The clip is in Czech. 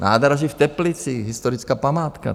Nádraží v Teplicích - historická památka.